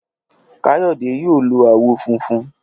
Káyọ̀dé yóò lo àwọ̀ funfun.